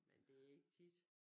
Men det ikke tit